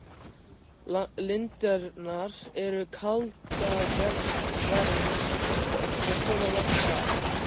Lindirnar eru kaldavermsl og koma langt að.